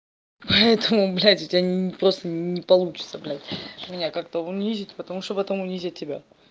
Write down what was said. поэтому блядь у тебя ни просто не получится блядь меня как-то унизить потому что потом унизят тебя